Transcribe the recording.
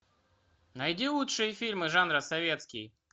найди лучшие фильмы жанра советский